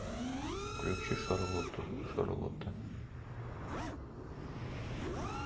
включи шарлоту шарлота